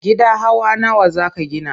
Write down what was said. Gida hawa nawa za ka gina?